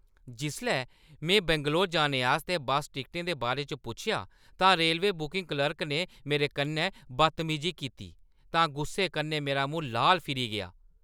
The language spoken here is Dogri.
जिसलै में बैंगलोर जाने आस्तै बस्स टिकटें दे बारे च पुच्छेआ तां रेलवे बुकिंग क्लर्क ने मेरे कन्नै बदतमीजी कीती तां गुस्से कन्नै मेरा मूंह् लाल फिरी गेआ।